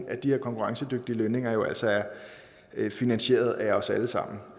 at de her konkurrencedygtige lønninger jo altså er finansieret af os alle sammen